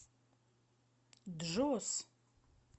джос